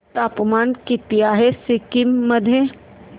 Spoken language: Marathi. तापमान किती आहे सिक्किम मध्ये